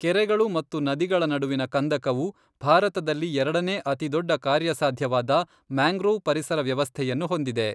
ಕೆರೆಗಳು ಮತ್ತು ನದಿಗಳ ನಡುವಿನ ಕಂದಕವು ಭಾರತದಲ್ಲಿ ಎರಡನೇ ಅತಿದೊಡ್ಡ ಕಾರ್ಯಸಾಧ್ಯವಾದ ಮ್ಯಾಂಗ್ರೋವ್ ಪರಿಸರ ವ್ಯವಸ್ಥೆಯನ್ನು ಹೊಂದಿದೆ.